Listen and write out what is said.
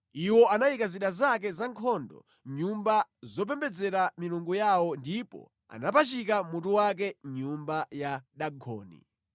Iwo anayika zida zake zankhondo mʼnyumba zopembedzera milungu yawo ndipo anapachika mutu wake mʼnyumba ya Dagoni.